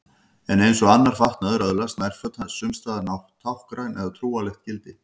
En eins og annar fatnaður öðlast nærföt sums staðar táknrænt eða trúarlegt gildi.